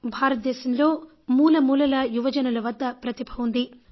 భారతదేశంలో మూలమూలలా యువజనుల వద్ద ప్రతిభ ఉంది